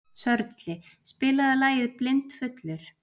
Sörli, spilaðu lagið „Blindfullur“.